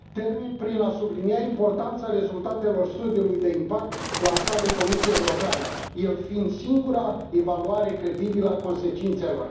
Termin prin a sublinia importanța rezultatelor studiului de impact lansat de Comisia Europeană, el fiind singura evaluare credibilă a consecințelor.